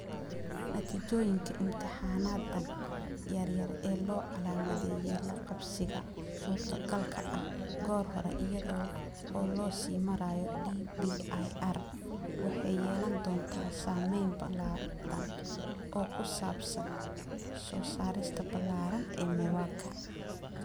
Natiijooyinka imtixaanadan yar-yar, ee loo calaamadeeyay la qabsiga suurtogalka ah goor hore iyada oo loo sii marayo DBIR, waxay yeelan doontaa saameyn balaadhan oo ku saabsan soo saarista ballaaran ee MEWAKA